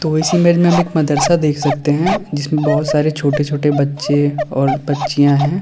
ओ इस इमेज में हम एक मदरसा देख सकते हैं जिसमें बहुत सारे छोटे छोटे बच्चे और बच्चियां हैं।